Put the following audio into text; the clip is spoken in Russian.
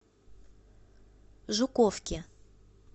жуковке